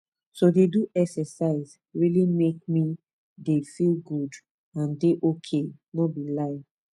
to dey do exercise really make me dey feel good and dey ok no be lie